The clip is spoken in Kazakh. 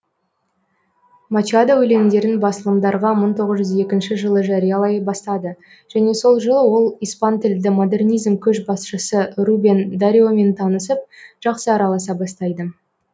мачадо өлеңдерін басылымдарға мың тоғыз жүз екінші жылы жариялай бастады және сол жылы ол испантілді модернизм көшбасшысы рубен дариомен танысып жақсы араласа бастайды